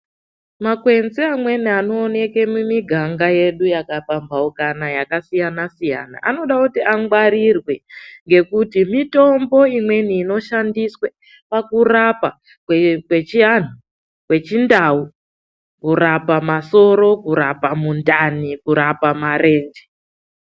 Makwenzi amweni anooneke mumiganga yedu yakapambaukana yakasiyana-siyana anoda kuti angwarire ngekuti mitombo imweni inoshandiswe pakurapa kwechianhu, kwechindau, kurape masoro, kurapa mundani, kurapa marenje.